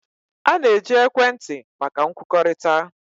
A na-eji ekwentị maka nkwukọrịta.